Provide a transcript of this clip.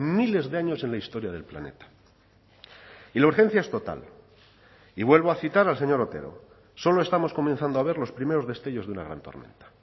miles de años en la historia del planeta y la urgencia es total y vuelvo a citar al señor otero solo estamos comenzando a ver los primeros destellos de una gran tormenta